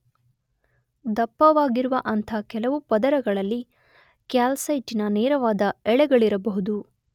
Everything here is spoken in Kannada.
ದಪ್ಪವಾಗಿರುವ ಅಂಥ ಕೆಲವು ಪದರಗಳಲ್ಲಿ ಕ್ಯಾಲ್ಸೈಟಿನ ನೇರವಾದ ಎಳೆಗಳಿರಬಹುದು.